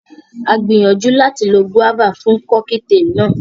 A gbìyànjú láti lo gúáfà fún Kọ́kítelì náà